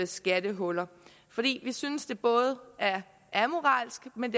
skattehuller fordi vi synes det både er amoralsk men